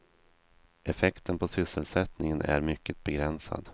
Effekten på sysselsättningen är mycket begränsad.